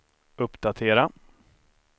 uppdatera